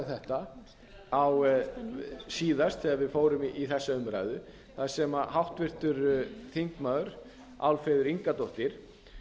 þetta síðast þegar við fórum í þessa umræðu þar sem háttvirtir þingmenn álfheiður ingadóttir